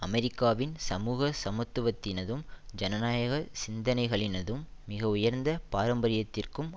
அமெரிக்காவின் சமூக சமத்துவத்தினதும் ஜனநாயக சிந்தனைகளினதும் மிகஉயர்ந்த பாரம்பரியத்திற்கும்